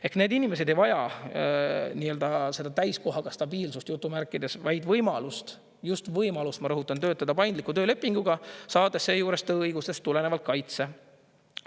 Ehk need inimesed ei vaja seda täiskohaga "stabiilsust", vaid võimalust – just võimalust, ma rõhutan – töötada paindliku töölepinguga, saades seejuures tööõigustest tulenevalt kaitse.